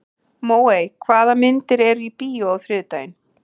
Móey, hvaða myndir eru í bíó á þriðjudaginn?